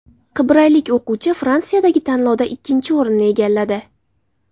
Qibraylik o‘quvchi Fransiyadagi tanlovda ikkinchi o‘rinni egalladi.